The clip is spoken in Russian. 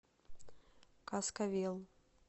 каскавел